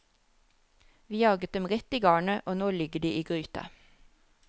Vi jaget dem rett i garnet, og nå ligger de i gryta.